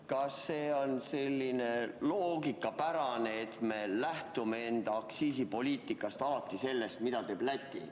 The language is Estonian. Kas see on loogikapärane, et me lähtume enda aktsiisipoliitikas alati sellest, mida teeb Läti?